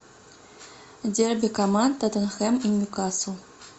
дерби команд тоттенхэм и ньюкасл